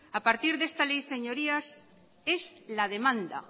a partir de esta ley señorías es la demanda